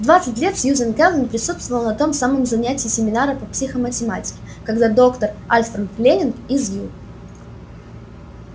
в двадцать лет сьюзен кэлвин присутствовала на том самом занятии семинара по психоматематике когда доктор альфред лэннинг из ю